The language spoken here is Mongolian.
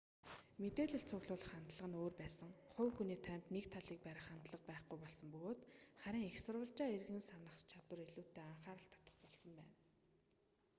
мэдээлэл цуглуулах хандлага нь өөр байсан хувь хүний тоймд нэг талийг барих хандлага байхгүй болсон бөгөөд харин эх сурвалжаа эргэн санах чадвар илүүтэй анхаарал татах болсон байна